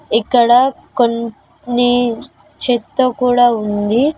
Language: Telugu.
ఇక్కడ కొన్ని చెత్త కూడా ఉంది.